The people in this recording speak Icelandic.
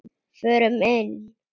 Förum inn.